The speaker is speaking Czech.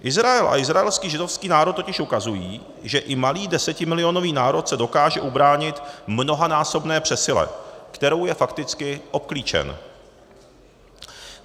Izrael a izraelský židovský národ totiž ukazují, že i malý desetimilionový národ se dokáže ubránit mnohanásobné přesile, kterou je fakticky obklíčen.